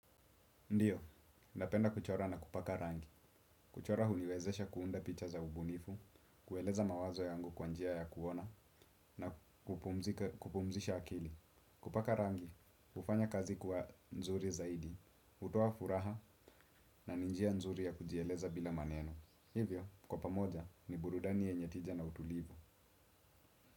Ndiyo, napenda kuchora na kupaka rangi. Kuchora huniwezesha kuunda picha za ubunifu, kueleza mawazo yangu kwa njia ya kuona na kupumzisha akili. Kupaka rangi, ufanya kazi kuwa nzuri zaidi, utoa furaha na ni njia nzuri ya kujieleza bila maneno. Hivyo, kwa pamoja ni burudani yenye tija na utulivu.